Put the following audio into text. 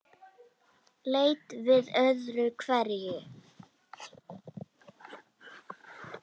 Leit við öðru hverju.